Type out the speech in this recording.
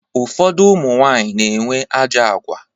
Ụfọdụ ụmụnwanyị na-enwe ajọ agwa.